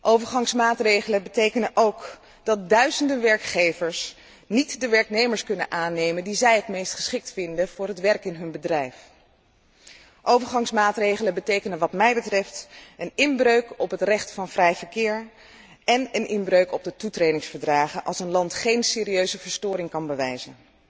Overgangsmaatregelen betekenen ook dat duizenden werkgevers niet de werknemers kunnen aannemen die zij het meest geschikt vinden voor het werk in hun bedrijf. Overgangsmaatregelen betekenen wat mij betreft een inbreuk op het recht van vrij verkeer en een inbreuk op de toetredingsverdragen, als een land geen serieuze verstoring kan bewijzen.